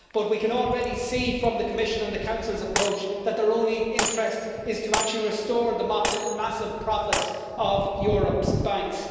But we can already see from the Commission and the Council's approach, that their only interest is to actually restore the massive profits of Europe's banks.